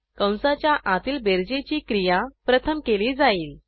कंसाच्या आतील बेरजेची क्रिया प्रथम केली जाईल